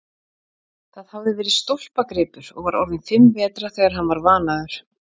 Það hafði verið stólpagripur og var orðinn fimm vetra þegar hann var vanaður.